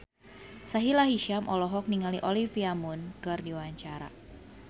Sahila Hisyam olohok ningali Olivia Munn keur diwawancara